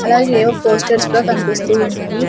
అలాగే ఏవో ఫోస్టర్స్ కూడా కన్పిస్తూ ఉన్నాయి.